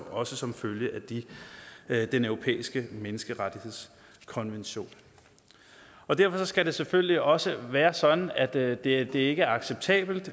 også som følge af den europæiske menneskerettighedskonvention derfor skal det selvfølgelig også være sådan at det det ikke er acceptabelt